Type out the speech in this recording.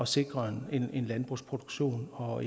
sikre en landbrugsproduktion og